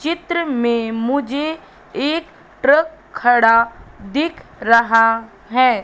चित्र में मुझे एक ट्रक खड़ा दिख रहा है।